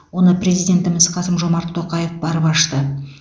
оны президентіміз қасым жомарт тоқаев барып ашты